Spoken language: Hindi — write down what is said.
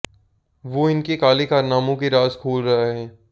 वो इनके काले कारनामों के राज़ खोल रहा है